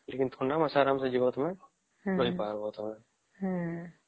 ଲେକିନ ଥଣ୍ଡା ମାସରେ ଆରାମ ସେ ଯିବା ତମେ ରହି ପରିବା -ହଁ